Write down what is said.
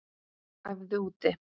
Æfðu úti